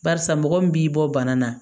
Barisa mɔgɔ min b'i bɔ bana na